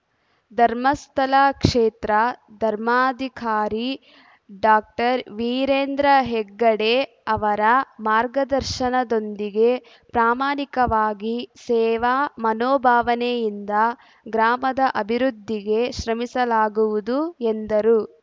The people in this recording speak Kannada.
ಧರ್ಮಸ್ಥಳ ಕ್ಷೇತ್ರ ಧರ್ಮಾಧಿಕಾರಿ ಡಾಕ್ಟರ್ ವೀರೇಂದ್ರ ಹೆಗ್ಗಡೆ ಅವರ ಮಾರ್ಗದರ್ಶನದೊಂದಿಗೆ ಪ್ರಾಮಾಣಿಕವಾಗಿ ಸೇವಾ ಮನೋಭಾವನೆಯಿಂದ ಗ್ರಾಮದ ಅಭಿವೃದ್ಧಿಗೆ ಶ್ರಮಿಸಲಾಗುವುದು ಎಂದರು